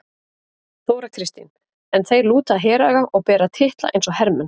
Þóra Kristín: En þeir lúta heraga og bera titla eins og hermenn?